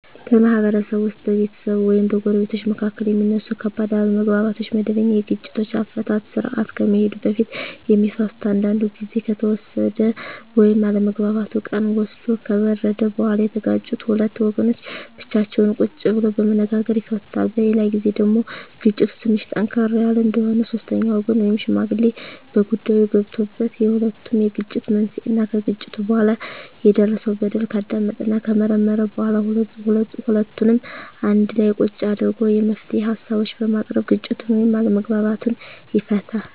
በማህበረሰብ ውስጥ በቤተሰብ ወይም በጎረቤቶች መካከል የሚነሱ ከባድ አለመግባባቶች ወደመበኛ የግጭት አፈታት ስርአት ከመሄዱ በፊት የሚፈቱት አንዳንዱ ግዜ ከተወሰደ ወይም አለመግባባቱ ቀን ወስዶ ከበረደ በኋላ የተጋጩት ሁለት ወገኖች ብቻቸውን ቁጭ ብለው በመነጋገር ይፈቱታል። በሌላ ግዜ ደግሞ ግጭቱ ትንሽ ጠንከር ያለ እንደሆነ ሶስተኛ ወገን ወይም ሽማግሌ በጉዳይዮ ገብቶበት የሁለቱንም የግጭት መንሴና ከግጭቱ በኋላ የደረሰው በደል ካዳመጠና ከመረመረ በኋላ ሁለቱንም አንድላ ቁጭ አድርጎ የመፍትሄ ሀሳቦችን በማቅረብ ግጭቱን ወይም አለመግባባቱን ይፈታል።